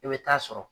I bɛ taa sɔrɔ